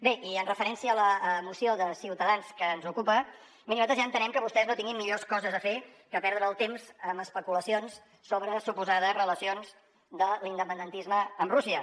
bé i en referència a la moció de ciutadans que ens ocupa miri nosaltres ja entenem que vostès no tinguin millors coses a fer que perdre el temps amb especulacions sobre suposades relacions de l’independentisme amb rússia